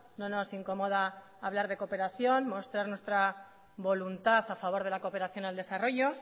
no nos incomoda hablar de cooperación mostrar nuestra voluntad a favor de la cooperación al desarrollo